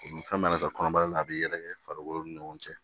Fɛn mana kɛ kɔnɔbara la a bɛ yɛrɛkɛ farikolo ni ɲɔgɔn cɛ